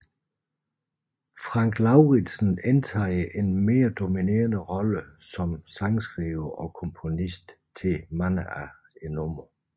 Frank Lauridsen indtager en mere dominerende rolle som sangskriver og komponist til mange af numrene